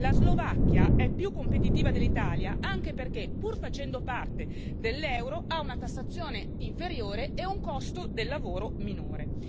La Slovacchia è più competitiva dell'Italia anche perché, pur facendo parte dell'euro, ha una tassazione inferiore e un costo del lavoro minore.